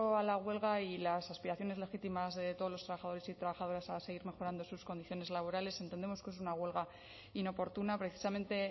a la huelga y las aspiraciones legítimas de todos los trabajadores y trabajadoras a seguir mejorando sus condiciones laborales entendemos que es una huelga inoportuna precisamente